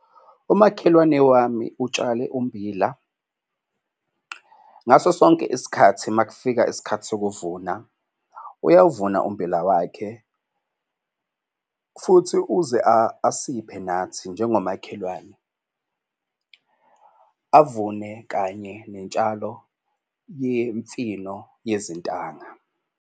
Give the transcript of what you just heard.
Umakhelwane wami utshale ummbila, ngaso sonke isikhathi uma kufika isikhathi sokuvuna uyawuvuna ummbila wakhe futhi uze asiphe nathi njengomakhelwane. Avune kanye netshalo yemifino yezintanga.